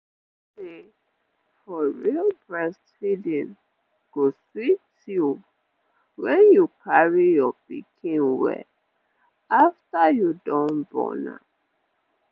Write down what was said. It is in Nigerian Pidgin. you know say for real breastfeeding go sweet you wen you dey carry your pikin well afta you don born am